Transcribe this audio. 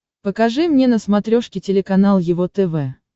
покажи мне на смотрешке телеканал его тв